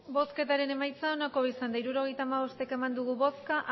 hirurogeita hamabost eman dugu bozka